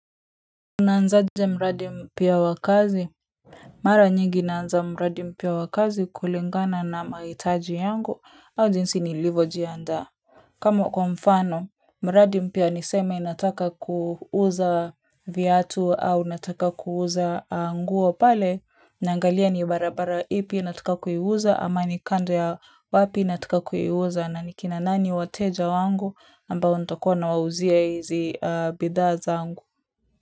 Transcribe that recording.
Unaanzaje mradi mpya wa kazi? Mara nyingi naanza mradi mpya wa kazi kulingana na mahitaji yangu au jinsi nilivyojiandaa. Kamo kwa mfano, mradi mpya niseme nataka kuuza viatu au nataka kuuza nguo pale. Naangalia ni barabara ipi nataka kuiuza ama ni kando ya wapi nataka kuiuza na ni kina nani wateja wangu ambao ntakua nawauzia hizi bidhaa zangu.